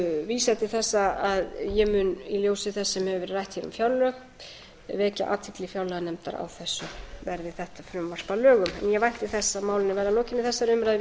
vísa til þess að ég mun í ljósi þess sem hefur verið rætt um fjárlög vekja athygli fjárlaganefndar á þessu verði þetta frumvarp að lögum ég vænti þess að málinu verði að lokinni þessari umræðu